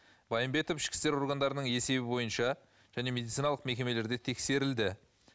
байымбетов ішкі істер органдарының есебі бойынша және медициналық мекемелерде тексерілді